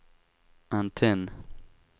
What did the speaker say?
antenn